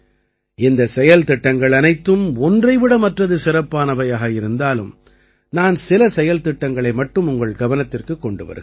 இந்தச் செயல்திட்டங்கள் அனைத்தும் ஒன்றை விட மற்றது சிறப்பானவையாக இருந்தாலும் நான் சில செயல்திட்டங்களை மட்டும் உங்கள் கவனத்திற்குக் கொண்டு வருகிறேன்